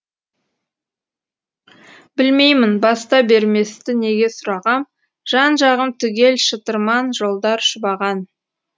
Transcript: білмеймін баста берместі неге сұрағам жан жағым түгел шытырман жолдар шұбаған